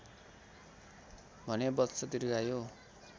भने वत्स दीर्घायु